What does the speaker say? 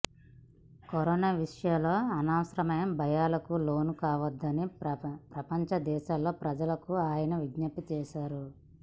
corona విషయంలో అనవసర భయాలకు లోను కావద్దని ప్రపంచ దేశాల ప్రజలకు అయన విజ్ఞప్తి చేశారు